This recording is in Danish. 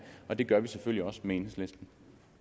og det gør vi selvfølgelig også med enhedslisten